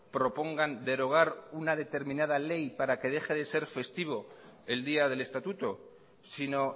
propongan derogar una determinada ley para que deje de ser festivo el día del estatuto sino